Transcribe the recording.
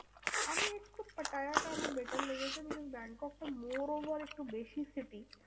আমি একটু পাটায়াটা আমার better লেগেছে। আমি যেমন ব্যাংককটা more over একটু বেশি city